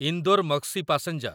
Indore Maksi passenger